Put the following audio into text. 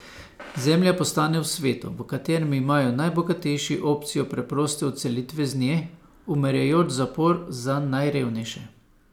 Zemlja postane v svetu, v katerem imajo najbogatejši opcijo preproste odselitve z nje, umirajoč zapor za najrevnejše.